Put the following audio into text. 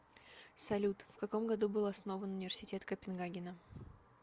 салют вкаком году был основан университет копенгагена